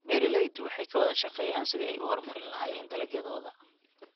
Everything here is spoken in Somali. Beeraleydu waxay ka wada shaqeeyaan sidii ay u horumarin lahaayeen dalagyadooda.